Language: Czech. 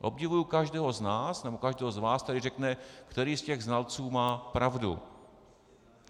Obdivuji každého z nás nebo každého z vás, který řekne, který z těch znalců má pravdu.